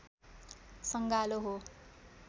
सँगालो हो